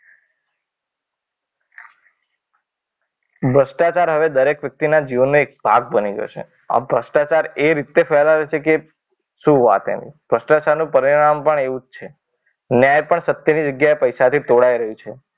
ભ્રષ્ટાચાર હારે દરેક વ્યક્તિના જીવનને એક ભાગ ગણાય ગયો છે. આ ભ્રષ્ટાચાર એ રીતે ફેલાયો છે કે શું વાત એની ભ્રષ્ટાચારનું પરિણામ પણ એવું છે. ન્યાય પણ સત્યની જગ્યાએ પૈસાથી તોડાઈ રહ્યું છે.